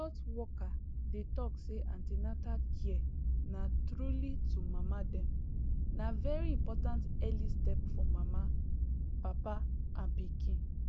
health worker dey talk say an ten atal care na truly to mama dem na very important early step for mama papa and pikin